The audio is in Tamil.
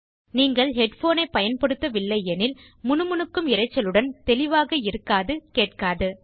நீங்கள் ஹெட் போன் ஐ பயன்படுத்தவில்லை எனில் முனுமுனுக்கும் இரைச்சல் தெளிவாக இருக்காதுகேட்காது